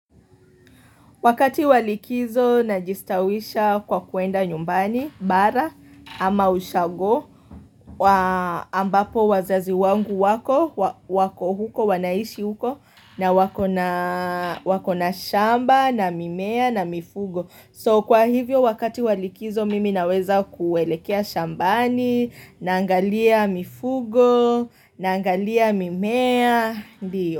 Wakati wa likizo najistawisha kwa kuenda nyumbani bara ama ushago ambapo wazazi wangu wako wako huko wanaishi huko na wakona shamba na mimea na mifugo. So kwa hivyo wakati walikizo mimi naweza kuelekea shambani naangalia mifugo naangalia mimea.